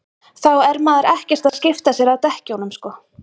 þá er maður ekkert að skipta sér að dekkjunum sko